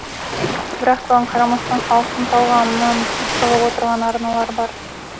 бірақ соған қарамастан халықтың талғамынан шығып отырған арналар бар